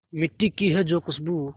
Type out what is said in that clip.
मिट्टी की है जो खुशबू